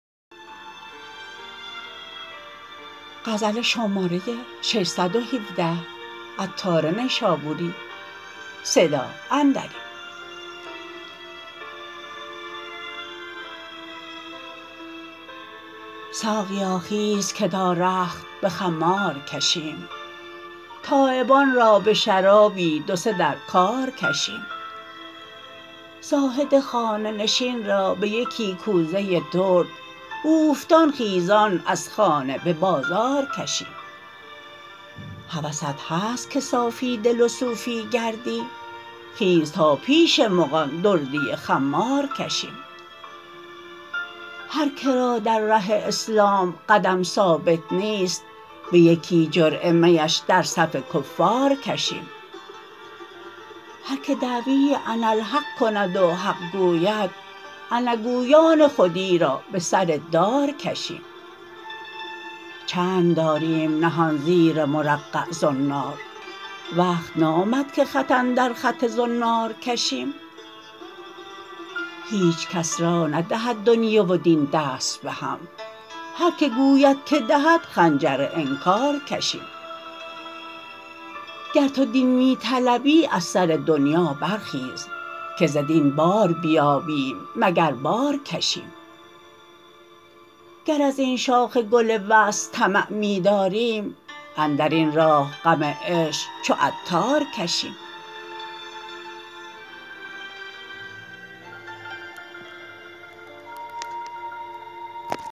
ساقیا خیز که تا رخت به خمار کشیم تایبان را به شرابی دو سه در کار کشیم زاهد خانه نشین را به یکی کوزه درد اوفتان خیزان از خانه به بازار کشیم هوست هست که صافی دل و صوفی گردی خیز تا پیش مغان دردی خمار کشیم هر که را در ره اسلام قدم ثابت نیست به یکی جرعه میش در صف کفار کشیم هر که دعوی اناالحق کند و حق گوید انا گویان خودی را به سر دار کشیم چند داریم نهان زیر مرقع زنار وقت نامد که خط اندر خط زنار کشیم هیچکس را ندهد دنیی و دین دست بهم هرکه گوید که دهد خنجر انکار کشیم گر تو دین می طلبی از سر دنیی برخیز که ز دین بار نیابیم مگر بار کشیم گر ازین شاخ گل وصل طمع می داریم اندرین راه غم عشق چو عطار کشیم